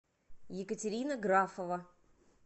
екатерина графова